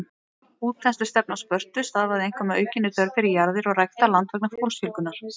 Útþenslustefna Spörtu stafaði einkum af aukinni þörf fyrir jarðir og ræktað land vegna fólksfjölgunar.